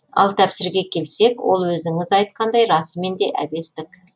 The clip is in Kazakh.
ал тәпсірге келсек ол өзіңіз айтқандай расымен де әбестік